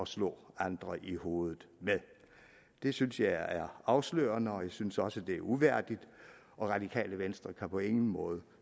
slå andre i hovedet med det synes jeg er afslørende og jeg synes også det er uværdigt og radikale venstre kan på ingen måde